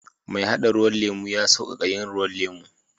Mai hada ruwan lemu ya sauƙaƙa yin ruwan lemu.